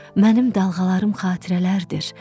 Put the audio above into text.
Mənim dalğalarım xatirələrdir,